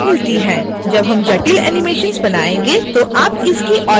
जब हम जटिल animations बनायेंगे तो आप इसकी और अधिक सराहना करेंगे